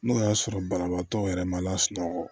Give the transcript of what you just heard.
N'o y'a sɔrɔ banabaatɔ yɛrɛ ma lasunɔgɔ